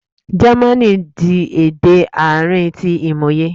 Jẹmánì di ede aarin ti imoye